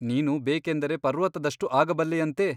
ನೀನು ಬೇಕೆಂದರೆ ಪರ್ವತದಷ್ಟು ಆಗಬಲ್ಲೆಯಂತೆ !